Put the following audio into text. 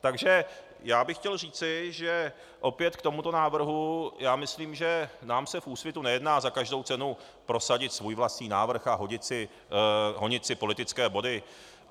Takže já bych chtěl říci, že opět k tomuto návrhu, já myslím, že nám se v Úsvitu nejedná za každou cenu prosadit svůj vlastní návrh a honit si politické body.